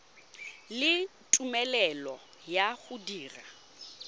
le tumelelo ya go dira